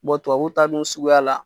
Bɔn tubabu taa dun suguya la